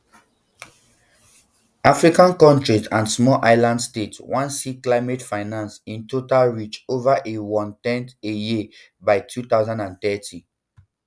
african countries and small island states wan see climate finance in total reach over a onetn a year by two thousand and thirty